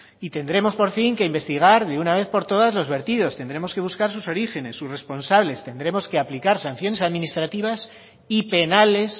y tendremos por fin que investigar de una vez por todas los vertidos tendremos que buscar sus orígenes sus responsables tendremos que aplicar sanciones administrativas y penales